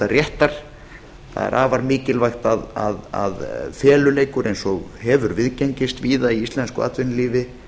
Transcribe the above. réttar er afar mikilvægt að feluleikur eins og hefur viðgengist víða í íslensku atvinnulífi